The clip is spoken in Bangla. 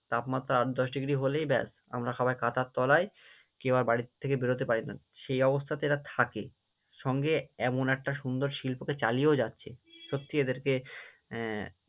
তাপমাত্রা আট-দশ ডিগ্রি হলেই ব্যাস আমরা সবাই কাঁথার তলায়, কেউ আর বাড়ির থেকে বেরোতে পারি না, সেই অবস্থাতে এরা থাকে, সঙ্গে এমন একটা সুন্দর শিল্পকে চালিয়েও যাচ্ছে, সত্যিই এদেরকে আহ